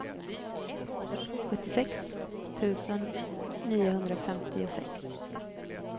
sjuttiosex tusen niohundrafemtiosex